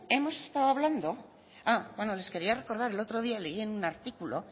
hemos estado hablando ah bueno les quería recordar el otro día leí en un artículo